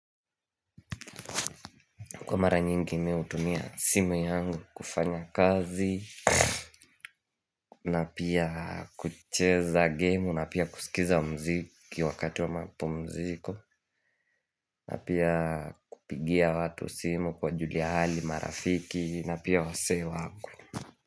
Kwa mara nyingi mimi hutumia simu yangu kufanya kazi na pia kucheza gemu, na pia kusikiza mziki wakati wa mapumziko na pia kupigia watu simu kuwajulia hali, marafiki, na pia wazee wangu.